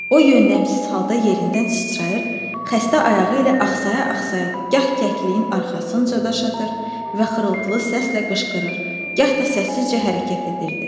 O yönləmsiz halda yerindən sıçrayır, xəstə ayağı ilə axsaya-axsaya gah kəkliyin arxasınca daş atır və xırıltılı səslə qışqırır, gah da səssizcə hərəkət edirdi.